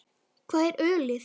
Hvar er ölið?